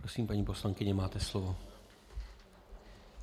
Prosím, paní poslankyně, máte slovo.